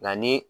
Nka ni